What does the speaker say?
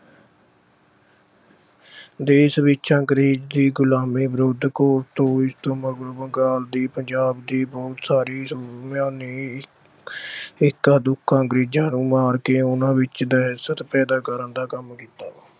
ਅਹ ਦੇਸ਼ ਵਿੱਚ ਅੰਗਰੇਜ਼ ਦੀ ਗੁਲਾਮੀ ਵਿਰੁੱਧ ਦੋਸ਼ ਤੋਂ ਮਗਰੋਂ ਬੰਗਾਲ ਦੇ, ਪੰਜਾਬ ਦੇ ਬਹੁਤ ਸਾਰੇ ਸੂਰਮਿਆਂ ਨੇ ਅਹ ਇੱਕਾ-ਦੁੱਕਾ ਅੰਗਰੇਜ਼ਾਂ ਨੂੰ ਮਾਰ ਕੇ ਉਹਨਾਂ ਵਿੱਚ ਦਹਿਸ਼ਤ ਪੈਦਾ ਕਰਨ ਦਾ ਕੰਮ ਕੀਤਾ।